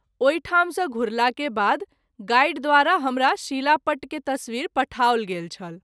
ओहि ठाम सँ घुरला के बाद गाइड द्वारा हमरा शिलापट्ट के तस्वीर पठाओल गेल छल।